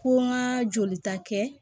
Ko n ka jolita kɛ